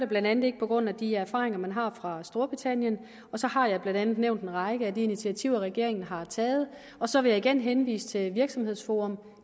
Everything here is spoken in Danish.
blandt andet ikke på grund af de erfaringer man har fra storbritannien så har jeg blandt andet nævnt en række af de initiativer regeringen har taget og så vil jeg igen henvise til virksomhedsforum